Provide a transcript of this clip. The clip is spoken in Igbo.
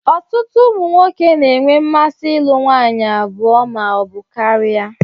ọtụtụ ụmụ nwoke na enwe mmasi ilụ nwanyi abụọ ma ọ bu karia